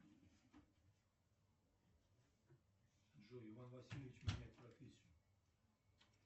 джой иван васильевич меняет профессию